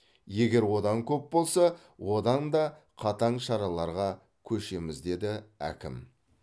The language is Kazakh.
егер одан көп болса одан да қатаң шараларға көшеміз деді әкім